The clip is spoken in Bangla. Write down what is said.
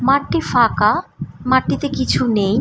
মাঠটি ফাঁকা মাঠটিতে কিছু নেই।